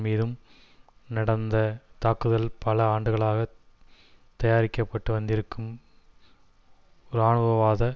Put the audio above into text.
மீதும் நடந்த தாக்குதல் பல ஆண்டுகளாக தயாரிக்க பட்டு வந்திருக்கும் இராணுவவாத